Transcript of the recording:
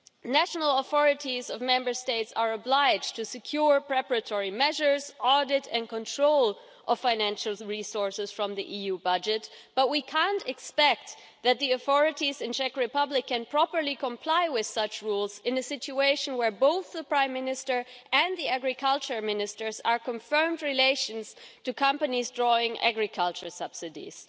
National authorities of Member States are obliged to secure preparatory measures, audit and control of financial resources from the EU budget, but we can't expect the authorities in the Czech Republic to be able to properly comply with such rules in a situation where both the Prime Minister and the Agriculture Minister have confirmed relations to companies drawing agricultural subsidies.